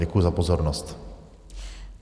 Děkuji za pozornost.